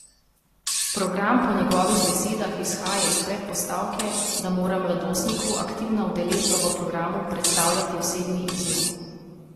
Program po njegovih besedah izhaja iz predpostavke, da mora mladostniku aktivna udeležba v programu predstavljati osebni izziv.